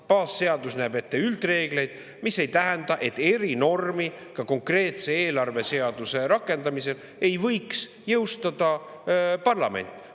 Baasseadus näeb ette üldreeglid, mis ei tähenda, et erinormi ka konkreetse eelarveseaduse rakendamisel ei võiks jõustada parlament.